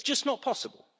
It is just not possible.